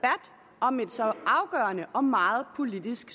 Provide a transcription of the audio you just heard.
om et så afgørende og meget politisk